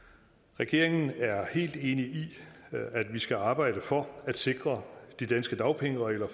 regeringen er helt enig i at vi skal arbejde for at sikre de danske dagpengeregler